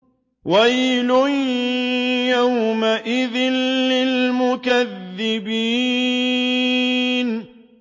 وَيْلٌ يَوْمَئِذٍ لِّلْمُكَذِّبِينَ